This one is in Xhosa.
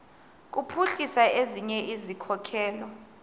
kuphuhlisa ezinye izikhokelo